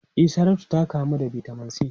E, Saratu ta kamu da Vitamin C.